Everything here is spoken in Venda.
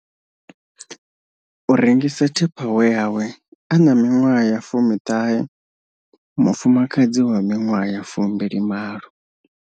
U rengisa tupperware hawe a na miṅwaha ya19, mufuma kadzi wa miṅwaha ya 28.